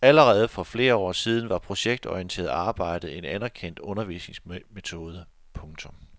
Allerede for flere år siden var projektorienteret arbejde en anerkendt undervisningsmetode. punktum